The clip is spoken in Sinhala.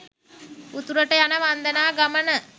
උතුරට යන වන්දනා ගමන